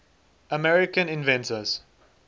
american inventions